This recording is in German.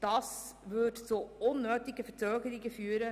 Das würde zu unnötigen Verzögerungen führen.